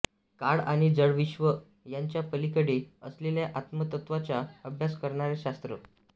काळ आणि जडविश्व यांच्या पलीकडे असलेल्या आत्मतत्त्वाचा अभ्यास करणारे शास्त्र